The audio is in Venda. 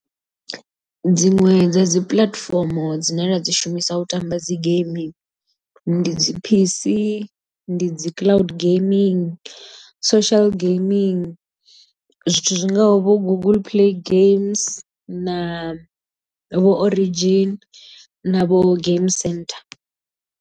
Dziṅwe dza dzi puḽatifomo dzine nda dzi shumisa u tamba dzi geimi ndi dzi P_C ndi dzi cloud gaming, social gaming zwithu zwingaho vho google play games na vho origin na vho game centre.